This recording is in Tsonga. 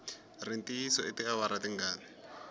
ri ntiyiso i tiawara tingani